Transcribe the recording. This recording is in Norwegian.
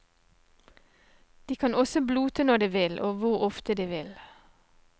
De kan også blote når de vil, og hvor ofte de vil.